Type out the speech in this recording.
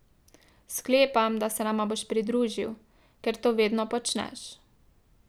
Sklepam, da se nama boš pridružil, ker to vedno počneš.